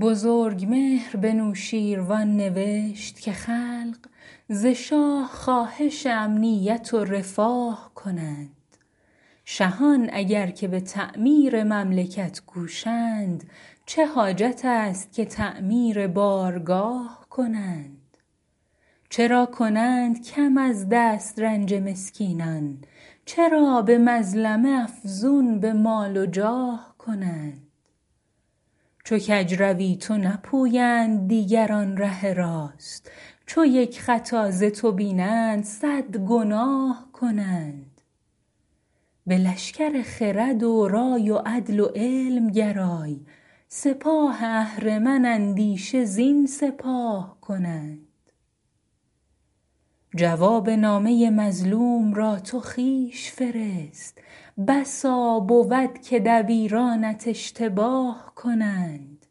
بزرگمهر به نوشین روان نوشت که خلق ز شاه خواهش امنیت و رفاه کنند شهان اگر که به تعمیر مملکت کوشند چه حاجت است که تعمیر بارگاه کنند چرا کنند کم از دسترنج مسکینان چرا به مظلمه افزون به مال و جاه کنند چو کج روی تو نپویند دیگران ره راست چو یک خطا ز تو بینند صد گناه کنند به لشکر خرد و رای و عدل و علم گرای سپاه اهرمن اندیشه زین سپاه کنند جواب نامه مظلوم را تو خویش فرست بسا بود که دبیرانت اشتباه کنند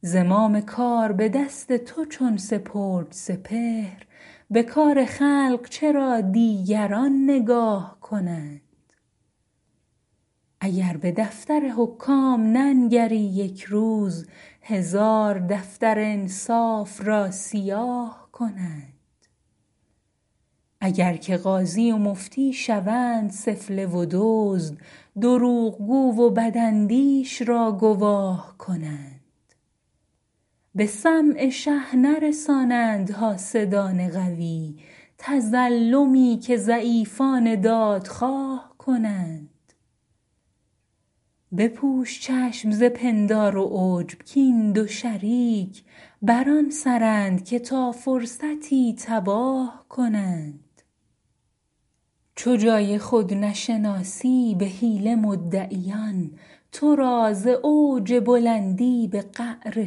زمام کار به دست تو چون سپرد سپهر به کار خلق چرا دیگران نگاه کنند اگر به دفتر حکام ننگری یک روز هزار دفتر انصاف را سیاه کنند اگر که قاضی و مفتی شوند سفله و دزد دروغگو و بداندیش را گواه کنند به سمع شه نرسانند حاسدان قوی تظلمی که ضعیفان دادخواه کنند بپوش چشم ز پندار و عجب کاین دو شریک بر آن سرند که تا فرصتی تباه کنند چو جای خود نشناسی به حیله مدعیان تو را ز اوج بلندی به قعر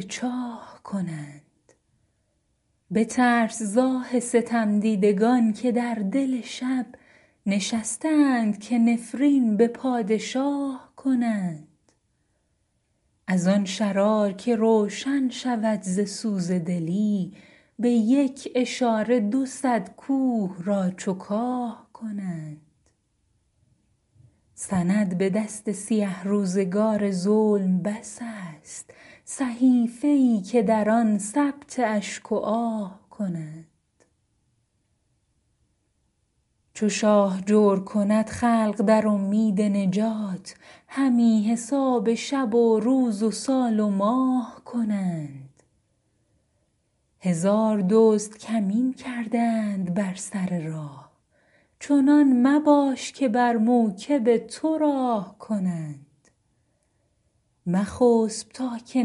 چاه کنند بترس ز آه ستمدیدگان که در دل شب نشسته اند که نفرین به پادشاه کنند از آن شرار که روشن شود ز سوز دلی به یک اشاره دو صد کوه را چو کاه کنند سند به دست سیه روزگار ظلم بس است صحیفه ای که در آن ثبت اشک و آه کنند چو شاه جور کند خلق در امید نجات همی حساب شب و روز و سال و ماه کنند هزار دزد کمین کرده اند بر سر راه چنان مباش که بر موکب تو راه کنند مخسب تا که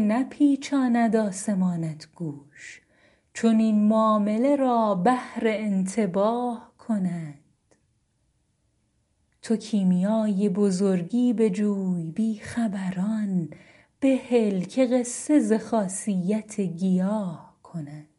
نپیچاند آسمانت گوش چنین معامله را بهر انتباه کنند تو کیمیای بزرگی بجوی بی خبران بهل که قصه ز خاصیت گیاه کنند